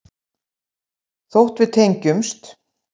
Þótt við tengjumst.